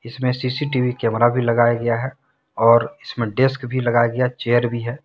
इसमें CCTV camera भी लगाया गया है और इसमें डेस्क भी लगाया गयाचेयर भी है।